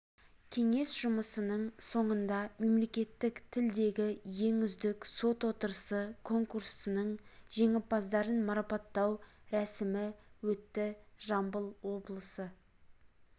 кеңес жұмысының соңында мемлекеттік тілдегі ең үздік сот отырысы конкурсының жеңімпаздарын марапаттау рәсімі өтті жамбыл облысы